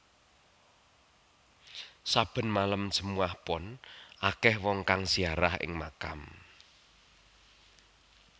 Saben malem Jumat Pon akeh wong kang ziarah ing makam